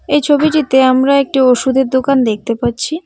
এই ছবিটিতে আমরা একটি ওষুধের দোকান দেখতে পারছি।